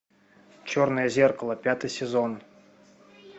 черное зеркало пятый сезон